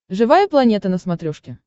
живая планета на смотрешке